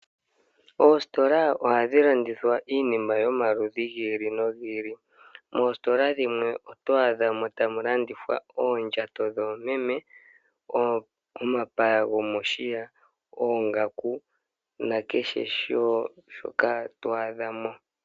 Oositola ohadhi landithwa iinima yomaludhi gi ili nogi ili. Moositola dhimwe oto adhamo tamu landithwa oondjato dhoomeme, omapaya gomoshiya, oongaku nakehe shoka to adha mo.